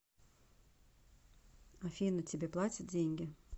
афина тебе платят деньги